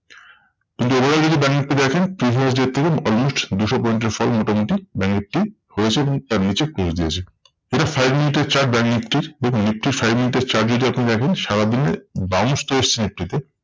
কিন্তু এবারে যদি ব্যাঙ্ক নিফটি দেখেন previous day র থেকে almost দুশো point এর fall মোটামুটি ব্যাঙ্ক নিফটি হয়েছে এবং তার নিচে close দিয়েছে। এটা five মিনিটের chart ব্যাঙ্ক নিফটির দেখুন নিফটির five মিনিটের chart যদি আপনি দেখেন সারাদিনে bounce টা এসেছে নিফটিতে।